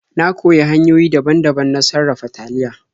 Na koyi hanyoyi daban-daban na sarafa taliya.